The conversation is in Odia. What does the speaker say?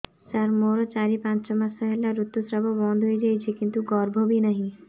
ସାର ମୋର ଚାରି ପାଞ୍ଚ ମାସ ହେଲା ଋତୁସ୍ରାବ ବନ୍ଦ ହେଇଯାଇଛି କିନ୍ତୁ ଗର୍ଭ ବି ନାହିଁ